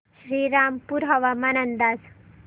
श्रीरामपूर हवामान अंदाज